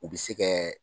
U bɛ se kɛ